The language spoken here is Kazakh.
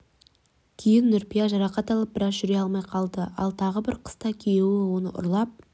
кейін нүрипа жарақат алып біраз жүре алмай қалды ал тағы бір қыста күйеуі оны ұрлап